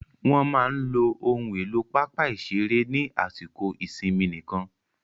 Wọ́n máa lo ohun èlò pápá ìṣeré ní àsìkò ìsinmi nìkan.